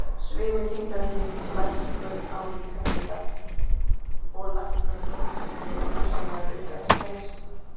Svimi, þyngdaraukning, lækkun á líkamshita og lækkun á blóðþrýstingi eru hugsanlegar aukaverkanir.